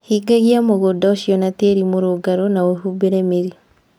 Hingagia mũgũnda ũcio na tĩĩri mũrũngarũ na ũhumbĩre mĩri.